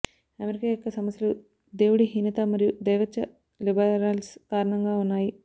America యొక్క సమస్యలు దేవుడిహీనత మరియు దైవత్వ లిబరల్స్ కారణంగా ఉన్నాయి